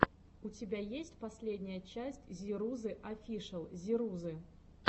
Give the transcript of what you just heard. у тебя есть последняя часть зирузы офишэл зирузы